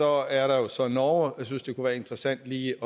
er der jo så norge jeg synes det kunne være interessant lige